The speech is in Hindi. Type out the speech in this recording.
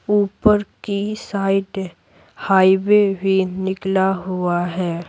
ऊपर की साइड हाईवे भी निकला हुआ है।